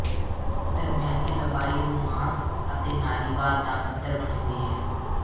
ਦਰਮਿਆਨੀ ਲੰਬਾਈ ਰੁਮਾਂਸ ਅਤੇ ਨਾਰੀਵਾਦ ਦਾ ਪੱਧਰ ਬਣੀ ਹੋਈ ਹੈ